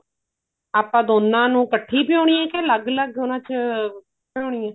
ਆਪਾਂ ਦੋਨਾ ਨੂੰ ਕੱਠੀ ਭਿਓਨੀ ਆਂ ਜਾਂ ਅਲੱਗ ਅਲੱਗ ਉਹਨਾ ਚ ਭਿਉਣੀ ਹੈ